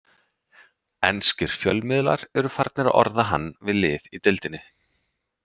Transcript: Enskir fjölmiðlar eru farnir að orða hann við lið í deildinni.